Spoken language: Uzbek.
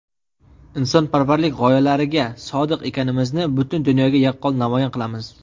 insonparvarlik gʼoyalariga sodiq ekanimizni butun dunyoga yaqqol namoyon qilamiz.